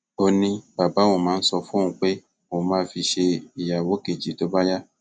ó ní bàbá òun máa ń sọ fóun pé òun máa fi í ṣe ìyàwó kejì tó bá yá